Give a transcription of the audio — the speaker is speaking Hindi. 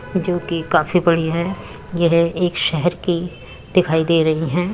जो की काफी बड़ी है। यह एक शहर की दिखाई दे रही है।